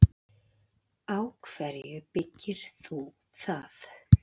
Á hverju byggir þú það?